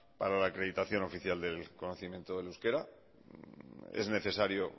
para la acreditación oficial del conocimiento del euskera es necesario